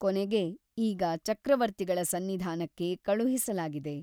ಕೊನೆಗೆ ಈಗ ಚಕ್ರವರ್ತಿಗಳ ಸನ್ನಿಧಾನಕ್ಕೆ ಕಳುಹಿಸಲಾಗಿದೆ.